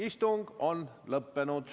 Istung on lõppenud.